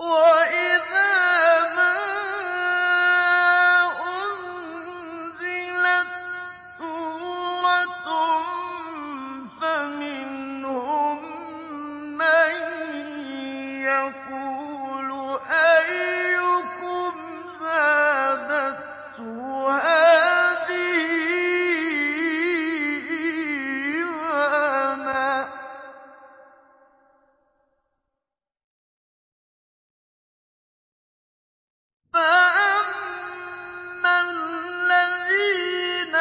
وَإِذَا مَا أُنزِلَتْ سُورَةٌ فَمِنْهُم مَّن يَقُولُ أَيُّكُمْ زَادَتْهُ هَٰذِهِ إِيمَانًا ۚ فَأَمَّا الَّذِينَ